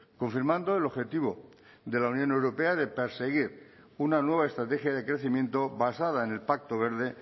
confirmando el objetivo de la unión europea de perseguir una nueva estrategia de crecimiento basada en el pacto verde